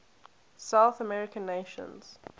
south american nations